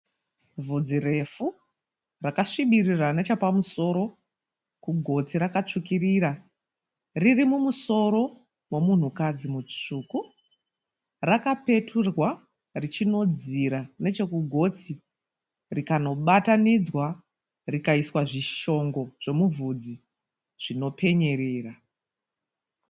Vudzi refu rakasvibirira nechepamusoro kugotsi rakasvukirira riri mumusoro memunhu kadzi musvuku, rakapeturwa richinodzira nechekugotsi rikanobatanidzwa rikaiswa zvichongo zvemuvudzi zvinopenyerera.